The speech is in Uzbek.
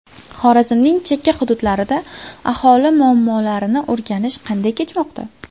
Xorazmning chekka hududlarida aholi muammolarini o‘rganish qanday kechmoqda?.